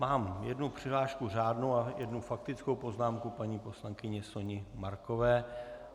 Mám jednu přihlášku řádnou a jednu faktickou poznámku paní poslankyně Soni Markové.